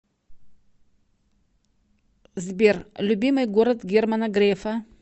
сбер любимый город германа грефа